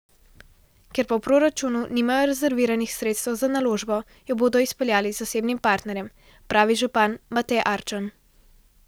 Ker pa v proračunu nimajo rezerviranih sredstev za naložbo, jo bodo izpeljali z zasebnim partnerjem, pravi župan Matej Arčon.